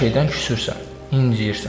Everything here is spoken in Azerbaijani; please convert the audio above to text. Hər şeydən küsürsən, incəyirsən.